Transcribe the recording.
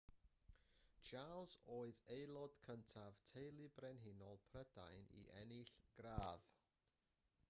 charles oedd aelod cyntaf teulu brenhinol prydain i ennill gradd